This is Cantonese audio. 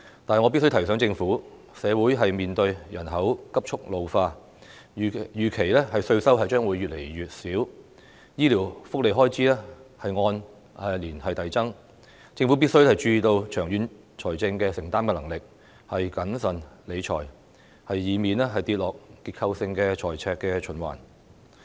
但是，我必須提醒政府，社會面對人口急速老化，預期稅收將會越來越少，醫療福利開支按年遞增，政府必須注意香港長遠的財政承擔能力，要謹慎理財，以免跌入結構性的財赤循環。